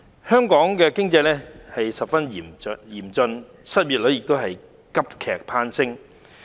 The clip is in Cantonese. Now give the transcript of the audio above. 香港的經濟情況十分嚴峻，失業率急劇攀升。